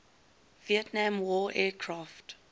vietnam war aircraft